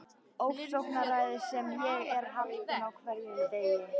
Ofsóknaræðis sem ég er haldinn á hverjum degi.